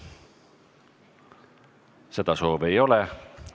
Seda soovi ei ole.